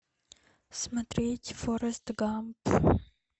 смотреть форрест гамп